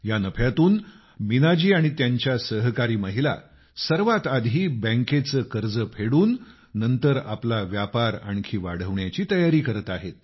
या नफ्यातून मीनाजी आणि त्यांच्या सहकारी महिला सर्वात आधी बँक कर्ज चुकवून नंतर आपला व्यापार आणखी वाढवण्याची तयारी करत आहेत